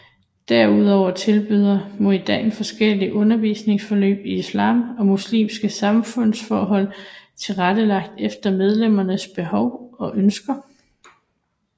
Derudover tilbyder Munida forskellige undervisningsforløb i islam og muslimske samfundsforhold tilrettelagt efter medlemmernes behov og ønsker